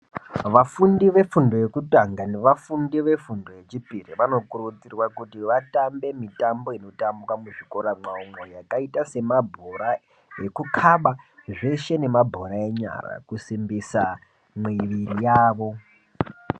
Vafundo vefundo yekutanaga nevafundi vefundi yechipiri vanokurudzirwa kuti vatambe mitambo inotambwa muzvikora mwawomwo yakaitta semabhora ekukaba zveshe nemabhora enyara kusimbisa mwiri yavo.